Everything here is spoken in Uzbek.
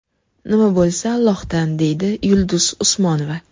Nima bo‘lsa, Allohdan”, deydi Yulduz Usmonova.